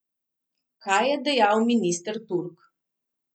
Kaj je dejal minister Turk?